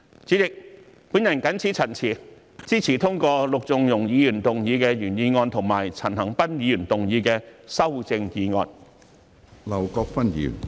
主席，我謹此陳辭，支持通過陸頌雄議員的原議案和陳恒鑌議員的修正案。